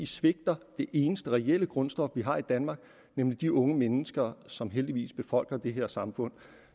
svigter det eneste reelle grundstof vi har i danmark nemlig de unge mennesker som heldigvis befolker det her samfund